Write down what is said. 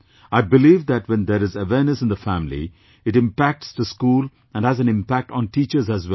I believe that when there is awareness in the family, it impacts the school and has an impact on teachers as well